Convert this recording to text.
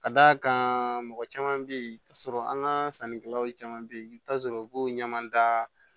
Ka d'a kan mɔgɔ caman bɛ yen i bɛ t'a sɔrɔ an ka sannikɛlaw caman bɛ yen i bɛ t'a sɔrɔ u b'o ɲamada